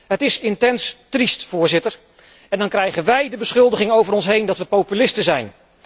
Het is intens triest, Voorzitter, en dan krijgen wíj de beschuldiging over ons heen dat we populisten zijn.